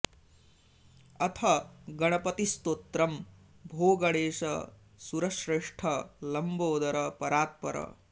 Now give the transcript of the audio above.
अथ गणपतिस्तोत्रम् भो गणेश सुरश्रेष्ठ लम्बोदर परात् पर